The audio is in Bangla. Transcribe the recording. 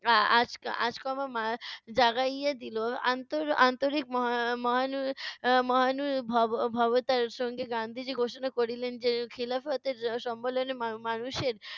আ~ আচকা~ আচকমমা জাগাইয়া দিলো। আন্তর~ আন্তরিক মহা~ মহানু~ এর মহানু ভব ভবতার সহিত গান্ধীজি ঘোষণা করিলেন যে, খিলাফতের সম্মেলন মা~ মানুষের